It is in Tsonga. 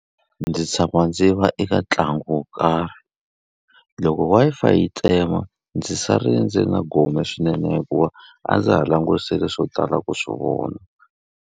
Ndzi tshama ndzi va eka ntlangu wo karhi. Loko Wi-Fi yi tsema, ndzi sale ndzi ri na gome swinene hikuva a ndza ha langutisile swo tala ku swi vona.